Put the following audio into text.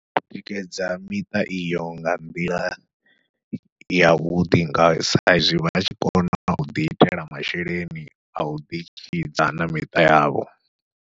U tikedza miṱa iyo nga nḓila ya vhuḓi nga sa izwi vha tshi kona u ḓi itela masheleni a u ḓi tshidza na miṱa yavho.